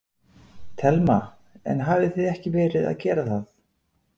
Telma: En hafið þið ekki verið að gera það?